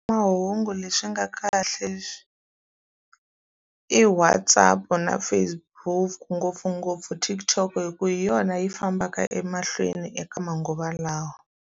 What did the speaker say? Mahungu leswi nga kahle i WhatsApp-u na Facebook ngopfungopfu TikTok hikuva hi yona yi fambaka emahlweni eka manguva lawa.